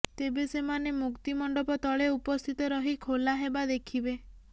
ତେବେ ସେମାନେ ମୁକ୍ତିମଣ୍ଡପ ତଳେ ଉପସ୍ଥିତ ରହି ଖୋଲା ହେବା ଦେଖିବେ